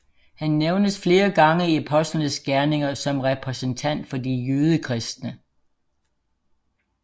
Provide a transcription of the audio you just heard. Han nævnes flere gange i Apostlenes Gerninger som repræsentant for de jødekristne